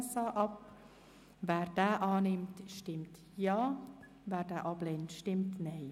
Wer den Abänderungsantrag 3 annimmt, stimmt Ja, wer ihn ablehnt, stimmt Nein.